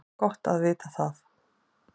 Gott að vita það